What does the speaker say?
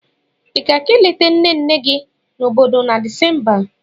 Ị ga-aga ileta nne nne gị nọ n'obodo na Disemba a?